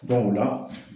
o la